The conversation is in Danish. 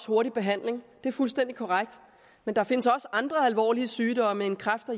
hurtig behandling det er fuldstændig korrekt men der findes også andre alvorlige sygdomme end kræft og